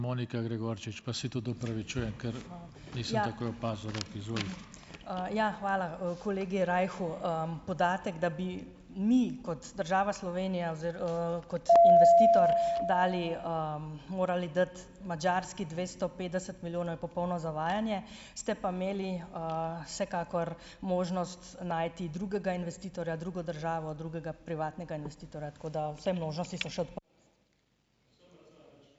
Ja, hvala, kolegu Rajhu. Podatek, da bi mi kot država Slovenija kot investitor dali, morali dati Madžarski dvesto petdeset milijonov, je popolno zavajanje, ste pa imeli, vsekakor možnost najti drugega investitorja, drugo državo, drugega privatnega investitorja, tako da vse možnosti so še.